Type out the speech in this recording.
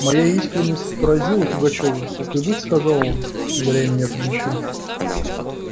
моя искренность поразила пугачёва так и быть сказал он ударя меня по плечу